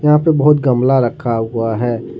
यहां पे बहुत गमला रखा हुआ है।